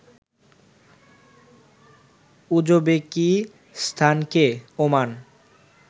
উজবেকিস্তানকে Oman